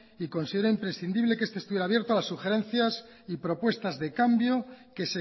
y considera imprescindible que este estuviera abierto a sugerencias y propuestas de cambio que